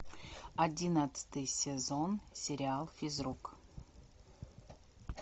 одиннадцатый сезон сериал физрук